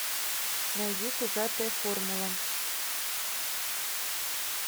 найди пузатая формула